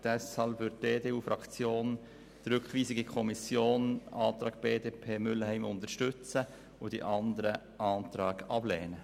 Deshalb wird die EDU-Fraktion die Rückweisung in die Kommission gemäss Antrag BDP und Mühlheim unterstützen und die anderen Anträge ablehnen.